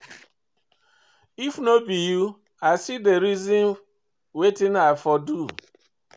If no be you, i still dey reason wetin I for do.